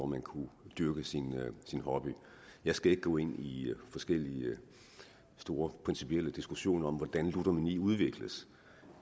man kunne dyrke sin hobby jeg skal ikke gå ind i forskellige store principielle diskussioner om hvordan ludomani udvikles